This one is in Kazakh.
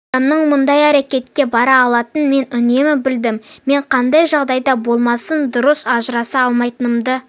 адамның мұндай әрекетке бара алатынын мен үнемі білдім мен қандай жағдайда болмасын дұрыс ажыраса алмайтынымды